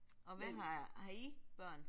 Og hvad har har I børn?